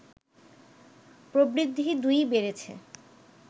প্রবৃদ্ধি দুই-ই বেড়েছে